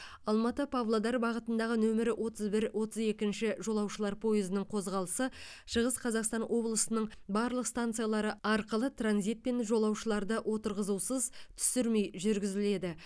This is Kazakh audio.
алматы павлодар бағытындағы нөмірі отыз бір отыз екінші жолаушылар пойызының қозғалысы шығыс қазақстан облысының барлық станциялары арқылы транзитпен жолаушыларды отырғызусыз түсірмей жүргізіледі